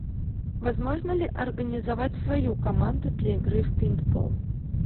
возможно ли организовать свою команду для игры в пейнтбол